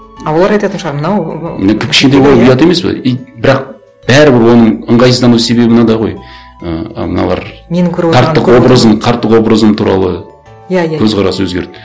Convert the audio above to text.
а олар айтатын шығар мынау ұят емес пе и бірақ бәрібір оның ыңғайсыздану себебі мынада ғой ііі мыналар қарттық образым туралы иә иә көзқарасы өзгерді